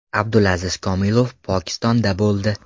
Abdulaziz Komilov Pokistonda bo‘ldi.